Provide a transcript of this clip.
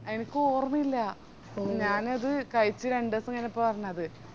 എനക്ക് ഓർമ്മയില്ല ഞാനത് കായിച് രണ്ടുസം കയിഞ്ഞപ്പളാ അറിഞ്ഞത്